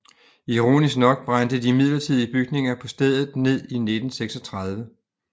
Ironisk nok brændte de midlertidige bygninger på stedet ned i 1936